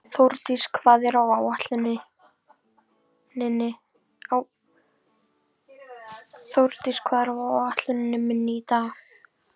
Þórdís, hvað er á áætluninni minni í dag?